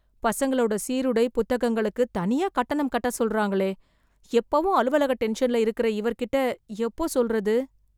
பசங்களோட சீருடை, புத்தகங்களுக்கு தனியாக கட்டணம் கட்ட சொல்றாங்களே... எப்பவும் அலுவலக டென்ஷன்ல இருக்கற இவர்கிட்ட எப்போ சொல்றது...